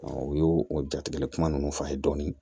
u y'o o jatigɛ kuma ninnu fɔ a ye dɔɔnin